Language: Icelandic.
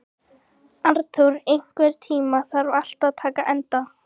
Arnþór, einhvern tímann þarf allt að taka enda.